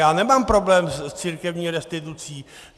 Já nemám problém s církevní restitucí.